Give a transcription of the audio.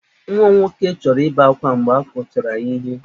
Nwa m nwoke chọrọ ibe akwa mgbe a kụchara ya ihe.